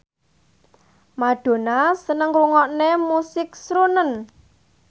Madonna seneng ngrungokne musik srunen